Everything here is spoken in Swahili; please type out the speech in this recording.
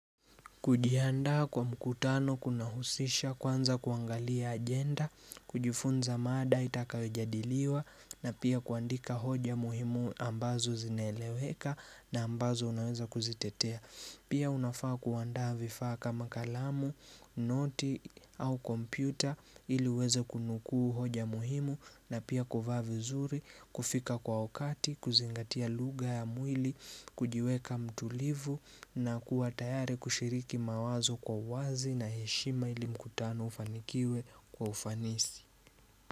Kujihandaa kwa mkutano kunahusisha kwanza kuangalia agenda, kujifunza mada itakayojadiliwa na pia kuandika hoja muhimu ambazo zinaeleweka na ambazo unaweza kuzitetea. Pia unafaa kuandaa vifaa kama kalamu, noti au kompyuta iliuweze kunukuu hoja muhimu na pia kuvaa vizuri, kufika kwa wakati, kuzingatia lugha ya mwili, kujiweka mtulivu na kuwa tayari kushiriki mawazo kwa wazi na heshima ili mkutano ufanikiwe kwa ufanisi.